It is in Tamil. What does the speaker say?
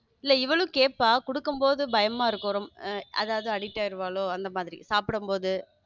இல்ல அவளும் கேப்பா கொடுக்கும்போது பயமா இருக்கும் ரொம்ப அதாவது addict ஆகி இருப்பாளோ அந்த மாதிரி சாப்பிடும்போது.